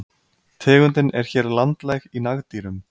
Tegundin er hér landlæg í nagdýrum.